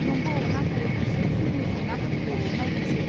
नंगौ, नाथाय बिसोर जोंनि जेंनाफोरखौ नायगोनसे?